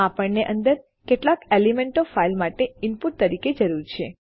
આપણને અંદર કેટલાક એલિમેન્ટો ફાઈલ માટે ઇનપુટ તરીકે જરૂર છે